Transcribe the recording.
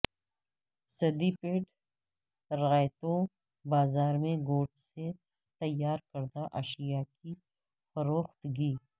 سدی پیٹ رعیتو بازار میں گوشت سے تیار کردہ اشیاء کی فروختگی